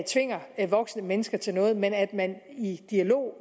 tvinger voksne mennesker til noget men at man i en dialog